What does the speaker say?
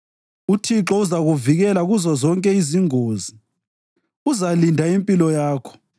UThixo uzakuvikela kuzozonke izingozi uzalinda impilo yakho;